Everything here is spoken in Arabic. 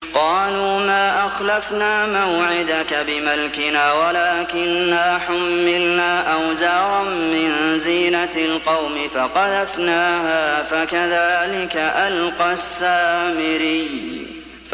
قَالُوا مَا أَخْلَفْنَا مَوْعِدَكَ بِمَلْكِنَا وَلَٰكِنَّا حُمِّلْنَا أَوْزَارًا مِّن زِينَةِ الْقَوْمِ فَقَذَفْنَاهَا فَكَذَٰلِكَ أَلْقَى السَّامِرِيُّ